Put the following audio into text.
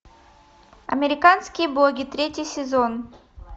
американские боги третий сезон